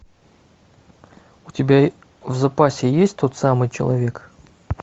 у тебя в запасе есть тот самый человек